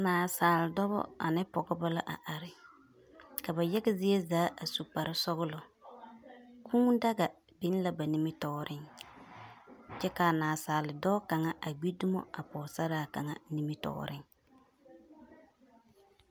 Naasaal dɔbɔ ane Pɔgebɔ la are are. Ka ba yaga zie zaa su kparre sɔgelɔ. Kūū daga biŋ la ba nimitɔɔreŋ. Kyɛ kaa nasaaldɔɔ kaŋa a gbi dumo a pɔgesaraa kaŋa nimitɔɔreŋ.